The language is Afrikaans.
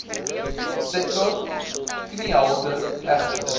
sektor kniehalter egter